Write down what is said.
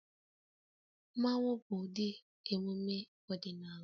Mmanwu bụ ụdị emume ọdịnala